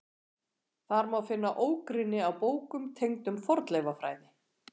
Þar má finna ógrynni af bókum tengdum fornleifafræði.